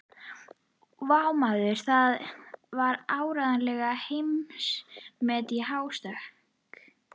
Vá, maður, það var áreiðanlega heimsmet í hástökki.